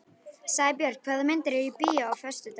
Sæbjörn, hvaða myndir eru í bíó á föstudaginn?